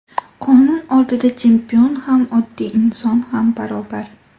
Qonun oldida chempion ham, oddiy inson ham barobar.